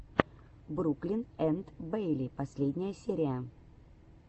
бруклин энд бэйли последняя серия